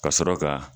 Ka sɔrɔ ka